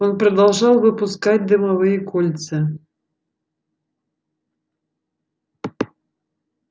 он продолжал выпускать дымовые кольца